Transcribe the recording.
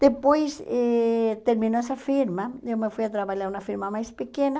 Depois eh terminou essa firma, eu me fui a trabalhar numa firma mais pequena.